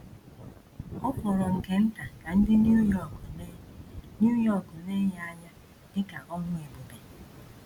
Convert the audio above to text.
Ọ fọrọ nke nta ka ndị New York lee New York lee ya anya dị ka ọrụ ebube.